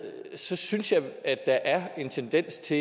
synes jeg at der er en tendens til